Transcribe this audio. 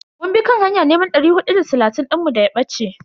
Mun bi kan hanya neman dari hudu da talatin dinmu daya bace.